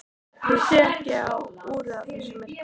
Ég sé ekki á úrið í þessu myrkri.